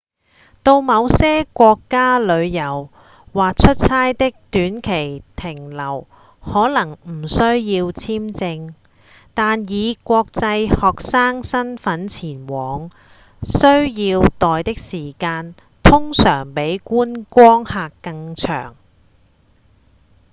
到某些國家旅遊或出差的短期停留可能不需要簽證但以國際學生身分前往需要待的時間通常比觀光客更長